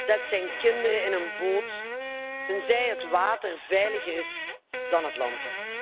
zet zijn kinderen in een boot, tenzij het water veiliger is dan het land.